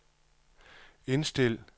indstil